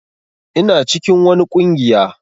Ina cikin wani ƙungiya.